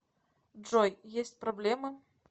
джой есть проблемы